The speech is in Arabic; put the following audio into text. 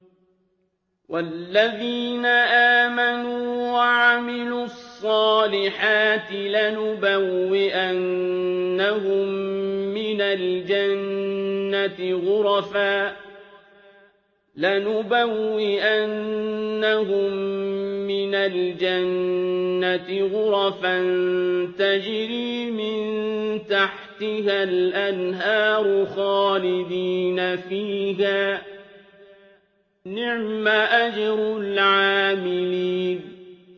وَالَّذِينَ آمَنُوا وَعَمِلُوا الصَّالِحَاتِ لَنُبَوِّئَنَّهُم مِّنَ الْجَنَّةِ غُرَفًا تَجْرِي مِن تَحْتِهَا الْأَنْهَارُ خَالِدِينَ فِيهَا ۚ نِعْمَ أَجْرُ الْعَامِلِينَ